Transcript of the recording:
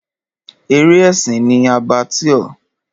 Eré ẹ̀sìn ni Abattoir.